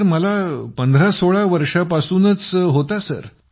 आजारतर मला 1516 वर्षांपासून जडला होता